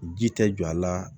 Ji tɛ jɔ a la